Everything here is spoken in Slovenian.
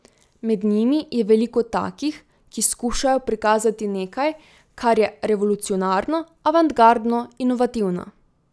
Med njimi je veliko takih, ki skušajo prikazati nekaj, kar je revolucionarno, avantgardno, inovativno.